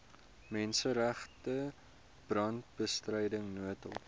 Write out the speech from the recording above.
menseregte brandbestryding noodhulp